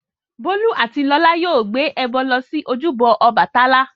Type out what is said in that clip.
Bólú àti Lọlá yóò gbé ẹbọ lọ sí ojúbọ Ọbàtálá.